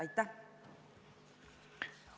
Aitäh!